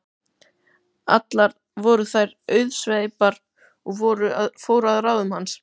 Allar voru þær auðsveipar og fóru að ráðum hans.